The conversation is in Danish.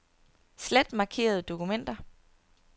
Slet markerede dokumenter.